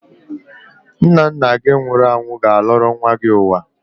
Nna nna gị nwụrụ anwụ ga-alọrọ nwa gị ụwa.